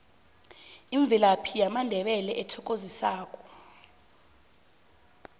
imvelaphi yamandebele ethokozisako